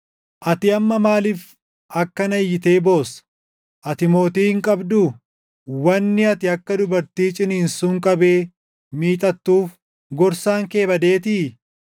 Ati amma maaliif akkana iyyitee boossa? Ati mootii hin qabduu? Wanni ati akka dubartii ciniinsuun qabee miixattuuf gorsaan kee badeetii?